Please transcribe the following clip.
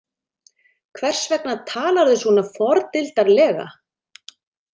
Hvers vegna talarðu svona fordildarlega?